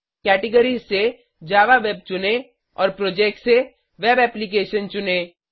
categories से Java web चुनें और प्रोजेक्ट्स से वेब एप्लिकेशन चुनें